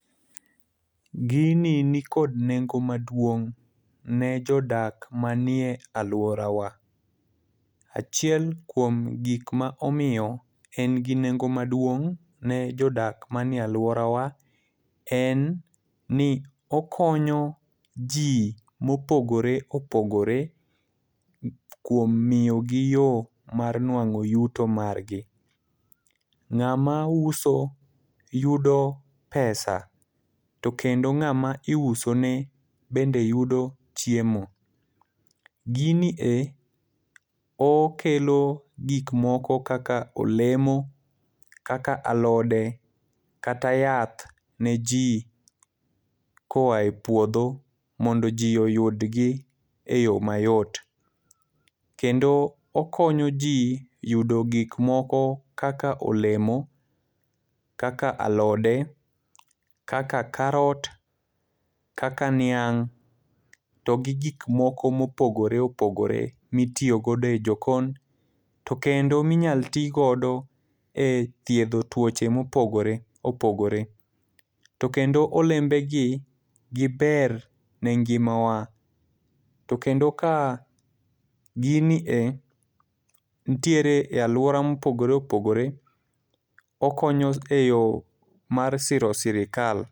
Gini nikod nengo maduong' ne jodak manie alworawa. Achiel kuom gikma omiyo en gi nengo maduong' ne jodak manie alworawa en ni okonyo ji mopogore opogore kuom miyo gi yo mar nwang'o yuto margi. Ng'ama uso yudo pesa, to kendo ng'ama iuso ne bende yudo chiemo. Gini e okelo gik moko kaka olemo, kaka alode, kata yath ne ji koae puodho mondo ji oyud gi e yo mayot. Kendo okonyo ji yudo gik moko kaka olemo, kaka alode, kaka carrot, kaka niang', to gi gik moko ma opogore opogore ma itiyo godo e jokon. To kendo ma inyalo ti godo e thiedho tuoche ma opogore opogore. To kendo olembe gi, giber ne ngima wa. Ko tendo ka gini e nitiere e alwora mopogore opogore, okonyo e yo ma siro sirkal.